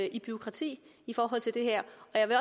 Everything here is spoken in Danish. i bureaukrati i forhold til det her